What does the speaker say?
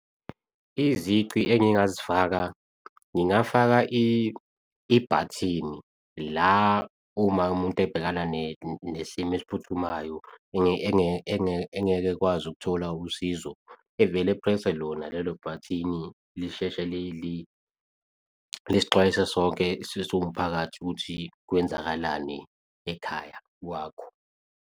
Izici engingazifaka, ngingafaka ibhathini la uma umuntu ebhekana nesimo esiphuthumayo engeke ekwazi ukuthola usizo, evele e-press-e lona lelo bhathini lisheshe lisixwayise sonke siwumphakathi ukuthi kwenzakalani ekhaya kwakho.